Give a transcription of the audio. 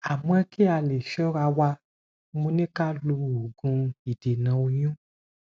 amo ki a le sora wa mo ni ka lo ogun idena oyun